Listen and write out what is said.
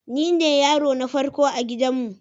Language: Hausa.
Nine yaro na farko a gidanmu.